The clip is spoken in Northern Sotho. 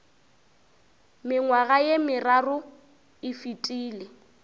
mengwaga ye meraro e fetile